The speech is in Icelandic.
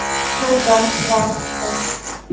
Tóta var skemmt.